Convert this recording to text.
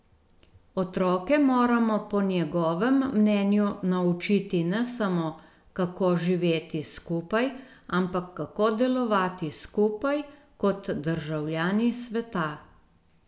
Otroke moramo po njegovem mnenju naučiti ne samo, kako živeti skupaj, ampak kako delovati skupaj kot državljani sveta.